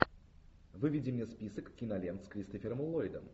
выведи мне список кинолент с кристофером ллойдом